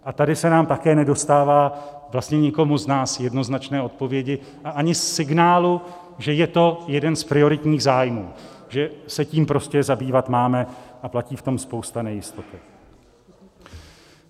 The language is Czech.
A tady se nám také nedostává, vlastně nikomu z nás, jednoznačné odpovědi a ani signálu, že je to jeden z prioritních zájmů, že se tím prostě zabývat máme, a platí v tom spousta nejistoty.